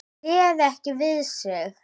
Hann réð ekki við sig.